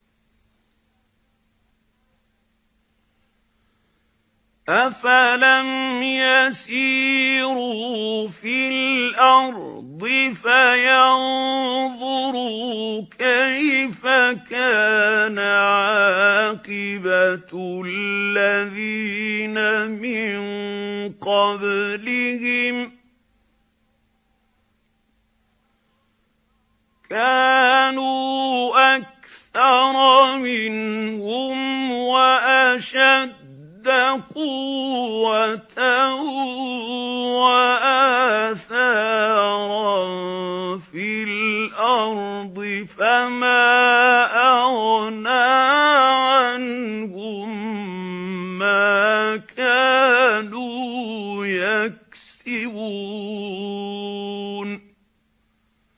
أَفَلَمْ يَسِيرُوا فِي الْأَرْضِ فَيَنظُرُوا كَيْفَ كَانَ عَاقِبَةُ الَّذِينَ مِن قَبْلِهِمْ ۚ كَانُوا أَكْثَرَ مِنْهُمْ وَأَشَدَّ قُوَّةً وَآثَارًا فِي الْأَرْضِ فَمَا أَغْنَىٰ عَنْهُم مَّا كَانُوا يَكْسِبُونَ